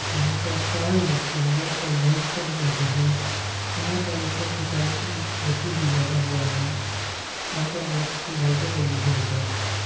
यहाँ पर चार लड़किया बैठ कर लंच कर रही है। यहाँ पर ऊपर की तरफ एक ए.सी. भी लगा हुआ है। यहाँ पर बोहोत अच्छी लाइटे लगी हुई है।